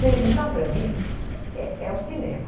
Televisão, para mim, é é é o cinema.